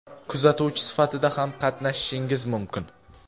kuzatuvchi sifatida ham qatnashishingiz mumkin.